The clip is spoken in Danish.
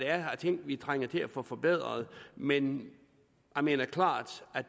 er af ting vi trænger til at få forbedret men jeg mener klart at